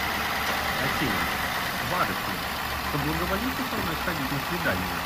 афина барышня соблаговолите со мной сходить на свидание